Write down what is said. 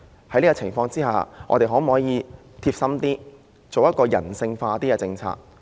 在這情況下，我們的政府可否貼心一點，制訂人性化的政策？